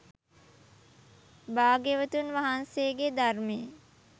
භාග්‍යවතුන් වහන්සේගේ ධර්මයේ